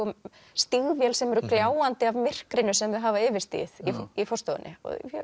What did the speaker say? stígvél sem eru gljáandi af myrkrinu sem þau hafa yfirstigið í forstofunni